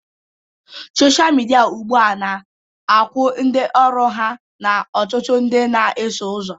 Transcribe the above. Sọsha midia ugbu a na-akwụ ndị ọrụ ya na ọtụtụ ndị na-eso ụzọ